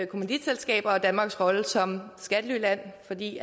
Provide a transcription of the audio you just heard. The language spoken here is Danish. kommanditselskaber og danmarks rolle som skattelyland fordi